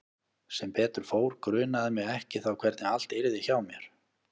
Sem betur fór grunaði mig ekki þá hvernig allt yrði hjá mér.